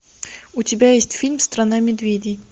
у тебя есть фильм страна медведей